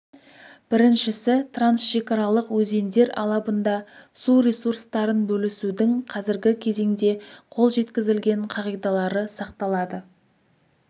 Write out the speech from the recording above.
біріншісі трансшекаралық өзендер алабында су ресурстарын бөлісудің қазіргі кезеңде қол жеткізілген қағидалары сақталады